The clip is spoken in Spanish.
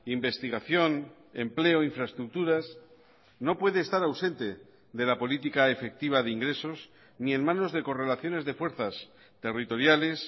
investigación empleo infraestructuras no puede estar ausente de la política efectiva de ingresos ni en manos de correlaciones de fuerzas territoriales